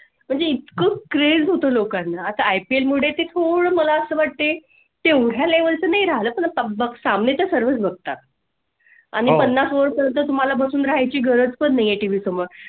आणि खोल craze लोकांना आता ipl मुळे थोडं मला असं वाटते तेवढा level तुम्ही राहाय ला बसावे तर सर्वच बघतात. आणि पन्नास over पर्यंत तुम्हाला बसून राहाय ची गरज पुणे TV समोर